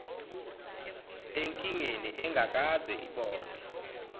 enkingeni engakaze ibonwe